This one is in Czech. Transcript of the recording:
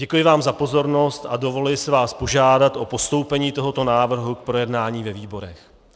Děkuji vám za pozornost a dovoluji si vás požádat o postoupení tohoto návrhu k projednání ve výborech.